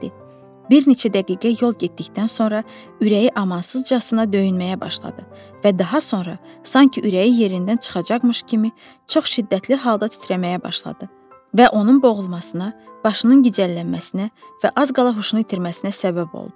Bir neçə dəqiqə yol getdikdən sonra ürəyi amansızcasına döyünməyə başladı və daha sonra sanki ürəyi yerindən çıxacaqmış kimi çox şiddətli halda titrəməyə başladı və onun boğulmasına, başının gicəllənməsinə və az qala huşunu itirməsinə səbəb oldu.